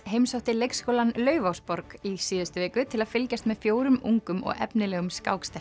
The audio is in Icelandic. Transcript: heimsótti leikskólann Laufásborg í síðustu viku til að fylgjast með fjórum ungum og efnilegum